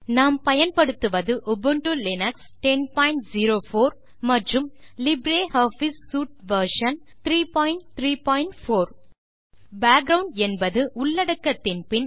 நாம் பயன்படுத்துவது Ubuntu Linux 1004 மற்றும் லிப்ரியாஃபிஸ் சூட் வெர்ஷன் 334 பேக்கிரவுண்ட் என்பது உள்ளடக்கத்தின் பின்